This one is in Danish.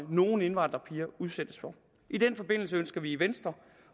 nogle indvandrerpiger udsættes for i den forbindelse ønsker vi i venstre